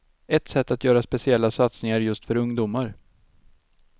Ett sätt är att göra speciella satsningar just för ungdomar.